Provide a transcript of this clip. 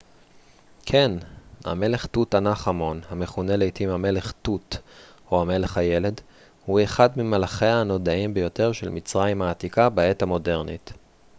כן המלך תות ענח' אמון המכונה לעתים המלך תות או המלך הילד הוא אחד ממלכיה הנודעים ביותר של מצרים העתיקה בעת המודרנית